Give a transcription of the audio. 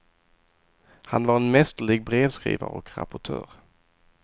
Han var en mästerlig brevskrivare och rapportör.